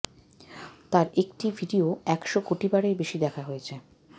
তার একটি ভিডিও একশো কোটি বারের বেশি দেখা হয়েছে